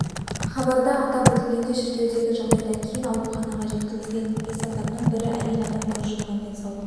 хабарда атап өтілгендей шіркеудегі жағдайдан кейін ауруханаға жеткізілген бес адамның бірі әйел адам көз жұмған денсаулық